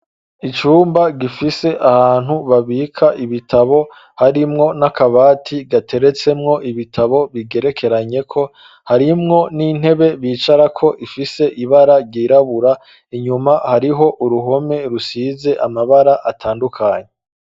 Icumba gifise ahantu babika ibitabo, harimwo n'akabati gateretsemwo ibitabo bigerekeranyeko, harimwo n'intebe bicarako ifise ibara ryirabura, inyuma hariho uruhome rusize amabara atandukanye.